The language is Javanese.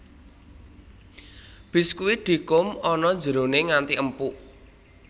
Biskuit dikum ana jerone nganti empuk